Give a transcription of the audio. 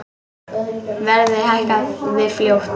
Verðið hækkaði fljótt.